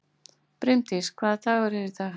Brimdís, hvaða dagur er í dag?